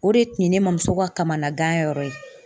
O de tun ye ne mamuso ka kamanagan yɔrɔ ye.